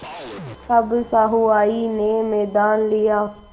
अब सहुआइन ने मैदान लिया